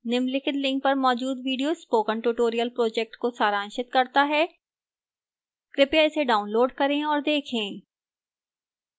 निम्नलिखित link पर मौजूद video spoken tutorial project को सारांशित करता है कृपया इसे डाउनलोड करें और देखें